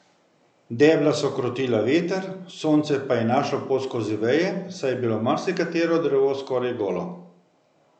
Debla so krotila veter, sonce pa je našlo pot skozi veje, saj je bilo marsikatero drevo skoraj golo.